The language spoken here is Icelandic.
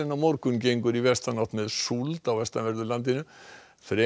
morgun gengur í vestanátt með súld á vestanverðu landinu fremur